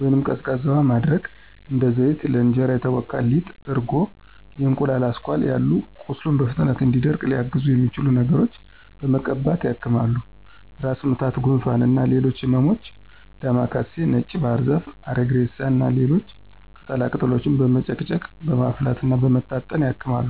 ወይንም ቀዝቃዛ ውሃ ማድረግ፣ እንደ ዘይት፣ ለእንጀራ የተቦካ ሊጥ፣ እርጎ፣ የእንቁላል አስኳል ያሉ ቁስሉ በፍጥነት እንዲደርቅ ሊያግዙት የሚችሉ ነገሮችን በመቀባት ያክማሉ። ራስ ምታት፣ ጉንፋን እና ሌሎች ህመሞችም ዳማ ካሴ፣ ነጭ ባህርዛፍ፣ አሪግሬሳ እና ሌሎች ቅጠላ ቅጠሎችን በመጨቅጨቅ፣ በማፍላት እና በመታጠን ያክማሉ።